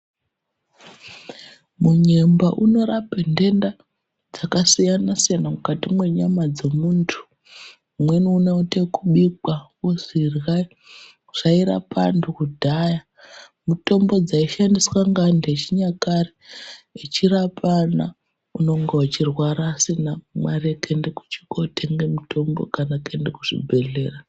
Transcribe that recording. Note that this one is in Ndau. Munyemba unorape ndenda dzakasiyana siyana mukati menyama dzemundu umweni unoita ekubikwa wozwi irlayi zvairape vandu kudhaya mutombo dzaishandiswa nevandu vechinyakare vechirapana unene uchirwara usina mare yekotenga mutombo kana kuenda kuzvibhehlera.